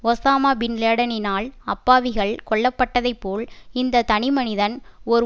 Osama பின்லேடனினால் அப்பாவிகள் கொல்லப்பட்டதைபோல் இந்த தனிமனிதன் ஒரு